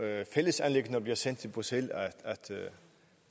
er fælles anliggender bliver sendt til bruxelles